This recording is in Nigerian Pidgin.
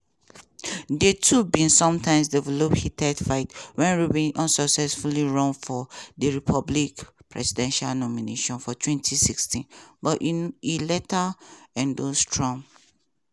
di two bin sometimes develop heated fight wen rubio unsuccessfully run for di republican presidential nomination for 2016 but e later endorse trump.